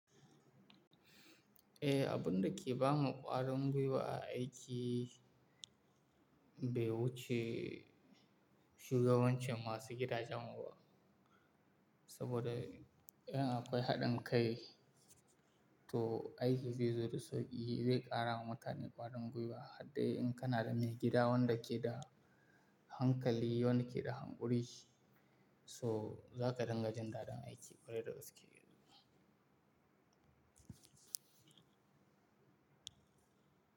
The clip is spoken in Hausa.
Eh, abun da ke ba mu ƙwarin gwiwa a aiki bai wuce shugabancin masu gidajen mu ba. Saboda in akwai haɗin kai, to aiki zai zo da sauƙi. Zai ƙara ma mutane ƙwarin gwiwa har dai in kana da mai gida wanda ke da hankali, wanda ke da hankuri, so za ka dinga jin dadin aiki kwarai da gaske yi.